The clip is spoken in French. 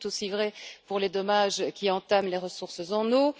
C'est tout aussi vrai pour les dommages qui entament les ressources en eau.